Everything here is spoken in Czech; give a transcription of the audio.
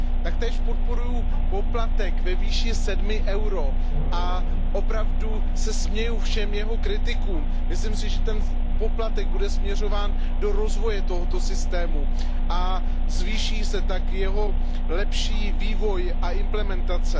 Taktéž podporuji poplatek ve výši 7 EUR a opravdu se směju všem jeho kritikům. Myslím si, že ten poplatek bude směřován do rozvoje toho systému a zvýší se tak jeho lepší vývoj a implementace.